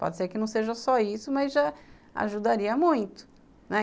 Pode ser que não seja só isso, mas já ajudaria muito, né.